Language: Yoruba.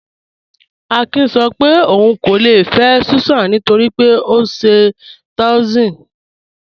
Àkín sọ́ pé óun kò lè fẹ́ Súsán nítorí pé ọ nṣẹ́ Taòism..